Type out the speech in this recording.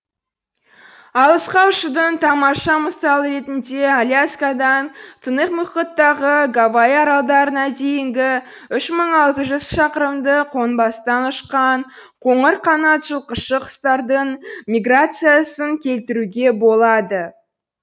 алысқа ұшудың тамаша мысалы ретінде аляска дан тынық мұхиттағы гавай аралдарына дейінгі үш мың алты жүз шақырымды қонбастан ұшқан қоңыр қанат жылқышы құстардың миграциясын келтіруге болады